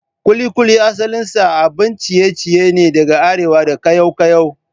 Kulikuli asalinsa abin ciye-ciye ne daga Arewa da kayaw-kayaw.